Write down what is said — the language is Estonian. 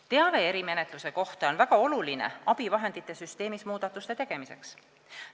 Teave erimenetluse kohta on väga oluline abivahendite süsteemis muudatuste tegemiseks.